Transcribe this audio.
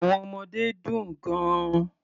Àwọn ọmọdé dùn gan-an.